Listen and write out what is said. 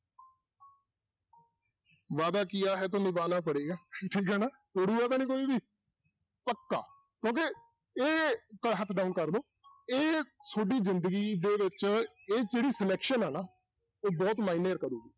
ਵਾਅਦਾ ਕੀਆ ਹੈ ਤੋਂ ਨਿਭਾਨਾ ਪੜ੍ਹੇਗਾ ਠੀਕ ਹੈ ਨਾ ਤੋੜੇਗਾ ਤਾਂ ਨੀ ਕੋਈ ਵੀ ਪੱਕਾ ਕਿਉਂਕਿ ਇਹ ਹੱਥ down ਕਰ ਲਓ ਇਹ ਤੁਹਾਡੀ ਜ਼ਿੰਦਗੀ ਦੇ ਵਿੱਚ ਇਹ ਜਿਹੜੀ selection ਹੈ ਨਾ ਇਹ ਬਹੁਤ ਮਾਅਨੇ ਕਾਰੁ